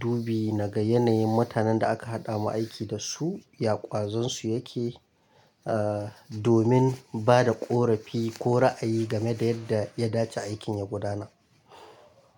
dubi nagan yanayin mutanen da aka haɗa mu aiki da su, ya ƙwazon su yake, ah domin bada ƙorafi ko ra'ayi game da yadda ya dace aikin ya gudana.